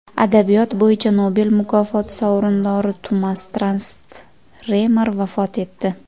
Adabiyot bo‘yicha Nobel mukofoti sovrindori Tumas Transtremer vafot etdi.